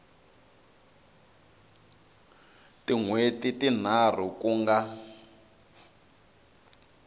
tin hweti tinharhu ku nga